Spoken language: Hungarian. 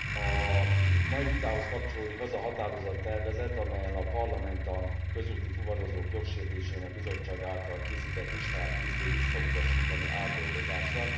A mai vitához kapcsolódik az a határozattervezet, amellyel a Parlament a közúti fuvarozók jogsértéseinek Bizottság által készített listáját készül visszautasítani átdolgozásra.